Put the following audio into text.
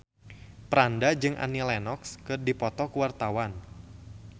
Franda jeung Annie Lenox keur dipoto ku wartawan